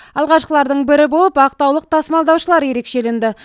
алғашқылардың бірі болып ақтаулық тасымалдаушылар ерекшеленді